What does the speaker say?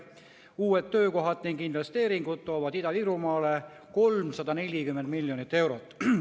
Uued töökohad ning investeeringud toovad Ida-Virumaale 340 miljonit eurot.